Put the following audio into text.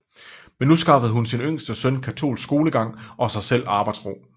Men nu skaffede hun sin yngste søn katolsk skolegang og sig selv arbejdsro